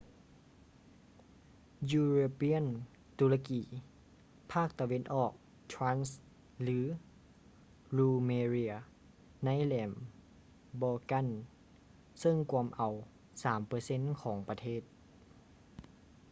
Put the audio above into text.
european turkey ພາກຕາເວັນອອກ thrace ຫຼື rumelia ໃນແຫຼມ balkan ເຊິ່ງກວມເອົາ 3% ຂອງປະເທດ